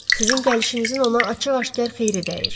Sizin gəlişinizin ona açıq-aşkar xeyri dəyir.